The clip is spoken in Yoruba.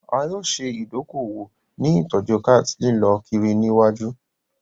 A yoo ṣe idoko-owo ni itọju chart lilọ kiri ni iwaju.